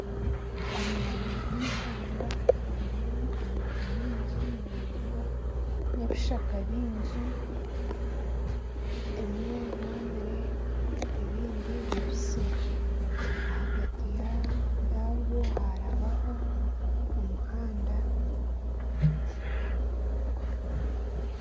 Omwanya gw'ihamba gurimu emiti mingi miraingwa n'ebishaka bingi ebimwe byomire ebindi bibisi ahagati yagwo harabaho omuhanda